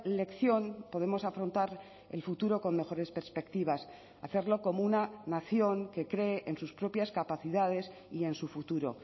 lección podemos afrontar el futuro con mejores perspectivas hacerlo como una nación que cree en sus propias capacidades y en su futuro